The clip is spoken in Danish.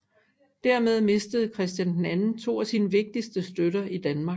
Dermed mistede Christian II to af sine vigtigste støtter i Danmark